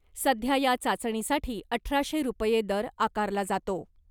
सध्या या चाचणीसाठी अठराशे रुपये दर आकारला जातो .